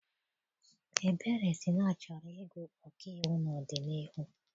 Ebere si na ọ chọrọ ịgụ ọkaiwu n'ọdịnihu.